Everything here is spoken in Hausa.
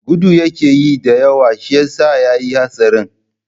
Gudu yakeyi da yawa shiyasa yayi hatsarin.